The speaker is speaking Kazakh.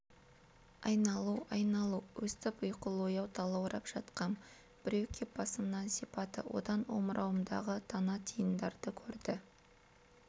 айналу айналу өстіп ұйқылы-ояу талаурап жатқам біреу кеп басымнан сипады одан омырауымдағы тана-тиындарды көрді